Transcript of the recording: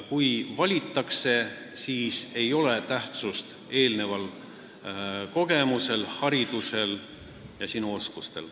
Kui sind valitakse, siis ei ole tähtsust kogemusel, haridusel ega oskustel.